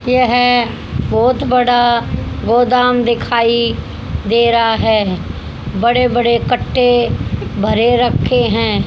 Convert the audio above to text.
यह बहोत बड़ा गोदाम दिखाई दे रहा है बड़े बड़े कट्टे भरे रखे हैं।